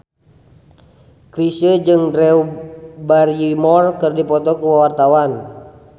Chrisye jeung Drew Barrymore keur dipoto ku wartawan